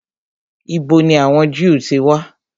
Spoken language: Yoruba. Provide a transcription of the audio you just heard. Ìbo ni àwọn Jew ti wà?